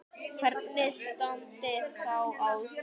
Hvernig ætli standi á því?